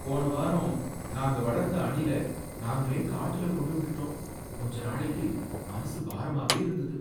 போனவாரம் நாங்க வளர்த்த அணில நாங்களே காட்டுல கொண்டு விட்டுட்டோம், கொஞ்ச நாளைக்கு மனசு பாரமாவே இருந்தது.